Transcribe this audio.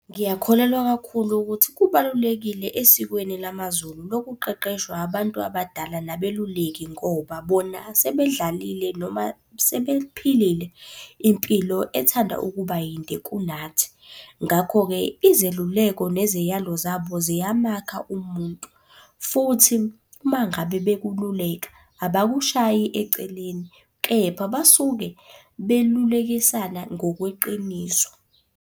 Ngiyakholelwa kakhulu ukuthi kubalulekile esikweni lamaZulu lokuqeqeshwa abantu abadala nabeluleki ngoba bona sebedlalile noma sebephilile impilo ethanda ukuba yinde kunathi. Ngakho-ke, izeluleko neziyalo zabo ziyamakha umuntu. Futhi, uma ngabe bekululeka abakushayi eceleni, kepha basuke belulekisana ngokweqiniso.